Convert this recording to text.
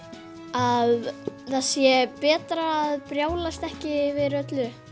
að það sé betra að brjálast ekki yfir öllu